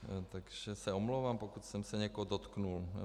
Takže se omlouvám, pokud jsem se někoho dotkl.